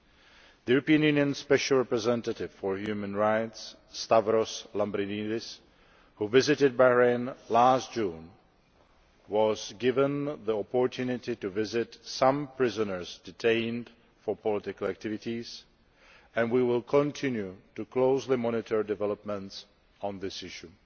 The European Union's Special Representative for Human Rights, Stavros Lambrinidis, who visited Bahrain last June, was given the opportunity to visit some prisoners detained for political activities. We will continue to closely monitor developments on this issue.